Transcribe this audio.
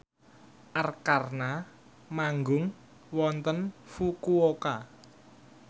Arkarna manggung wonten Fukuoka